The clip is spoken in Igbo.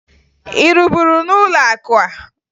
Ị rụburu n'ụlọakụ a?